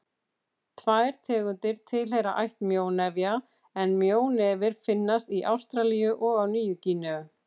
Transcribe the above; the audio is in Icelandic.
Tvær tegundir tilheyra ætt mjónefja en mjónefir finnast í Ástralíu og á Nýju-Gíneu.